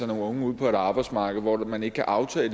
nogle unge ud på et arbejdsmarked hvor man ikke kan aftage